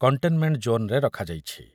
Containment ଜୋନ୍‌ରେ ରଖାଯାଇଛି।